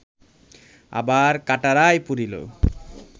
আবার কাটরায় পূরিল